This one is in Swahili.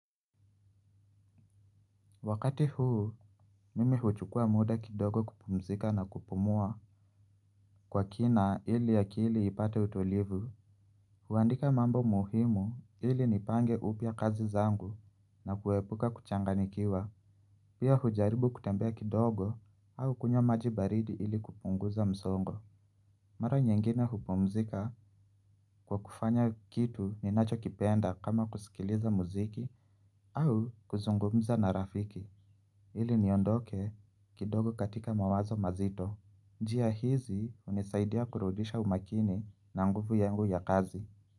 Wakati huu mimi huchukua muda kidogo kupumzika na kupumua kwa kina ili akili ipate utulivu. Huandika mambo muhimu ili nipange upya kazi zangu na kuepuka kuchanganyikiwa. Pia hujaribu kutembea kidogo au kunywa maji baridi ili kupunguza msongo. Mara nyingine hupumzika kwa kufanya kitu ninacho kipenda kama kusikiliza muziki au kuzungumza na rafiki. Ili niondoke kidogo katika mawazo mazito njia hizi hunisaidia kurudisha umakini na nguvu yangu ya kazi.